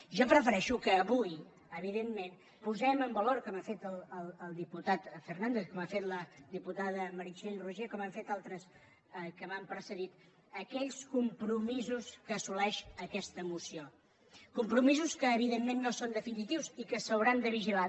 jo prefereixo que avui evidentment posem en valor com ho ha fet el diputat fernàndez com ho ha fet la diputada meritxell roigé com ho han fet altres que m’han precedit aquells compromisos que assoleix aquesta moció compromisos que evidentment no són definitius i que s’hauran de vigilar